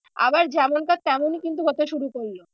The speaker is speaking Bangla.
আবার যেমনকার তেমনই কিন্তু হতে শুরু করলো।